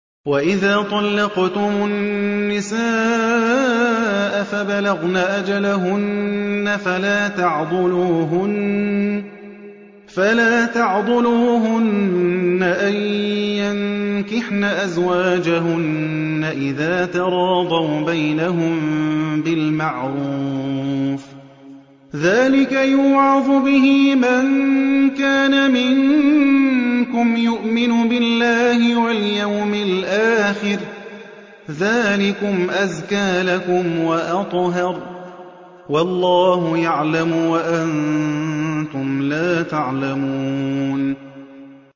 وَإِذَا طَلَّقْتُمُ النِّسَاءَ فَبَلَغْنَ أَجَلَهُنَّ فَلَا تَعْضُلُوهُنَّ أَن يَنكِحْنَ أَزْوَاجَهُنَّ إِذَا تَرَاضَوْا بَيْنَهُم بِالْمَعْرُوفِ ۗ ذَٰلِكَ يُوعَظُ بِهِ مَن كَانَ مِنكُمْ يُؤْمِنُ بِاللَّهِ وَالْيَوْمِ الْآخِرِ ۗ ذَٰلِكُمْ أَزْكَىٰ لَكُمْ وَأَطْهَرُ ۗ وَاللَّهُ يَعْلَمُ وَأَنتُمْ لَا تَعْلَمُونَ